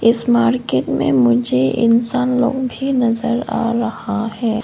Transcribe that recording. इस मार्केट में मुझे इंसान लोग भी नजर आ रहा है।